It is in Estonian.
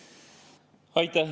Aitäh!